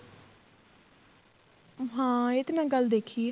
ਹਾਂ ਇਹ ਤੇ ਮੈਂ ਗੱਲ ਦੇਖੀ ਏ